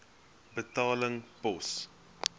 betaling pos